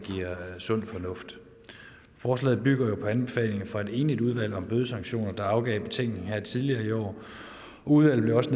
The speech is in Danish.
sund fornuft forslaget bygger jo på anbefalingerne fra et enigt udvalg om bødesanktioner der afgav betænkning her tidligere i år udvalget